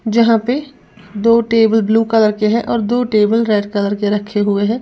जहां पे दो टेबल ब्लू कलर के हैं और दो टेबल रेड कलर के रखे हुए हैं।